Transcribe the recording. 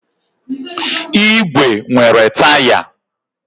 ígwè nwere taya.